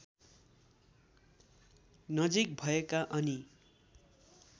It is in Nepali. नजिक भएका अनि